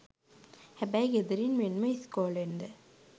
හැබැයි ගෙදරින් මෙන්ම ඉස්කෝලෙන්ද